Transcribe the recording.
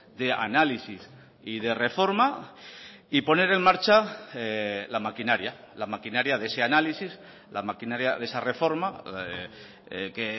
de análisis y de reforma y poner en marcha la maquinaria la maquinaria de ese análisis la maquinaria de esa reforma que